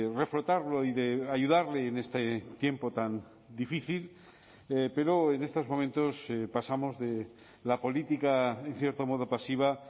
reflotarlo y de ayudarle en este tiempo tan difícil pero en estos momentos pasamos de la política en cierto modo pasiva